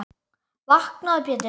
Vaknaðu Pétur.